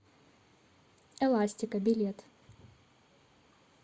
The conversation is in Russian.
эластика билет